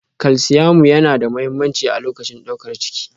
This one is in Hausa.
Kalsiamu yana da mahimmanci a lokacin daukar ciki